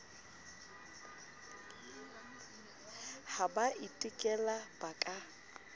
ha ba itekola ba ka